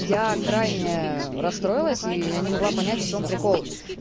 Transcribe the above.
я крайняя расстроилась и я не могла понять в чем прикол